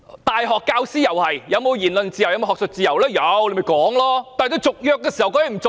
大學教師享有言論自由、學術自由，但政府可以不跟他們續約。